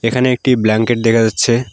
এখানে একটি ব্ল্যাঙ্কেট দেখা যাচ্ছে।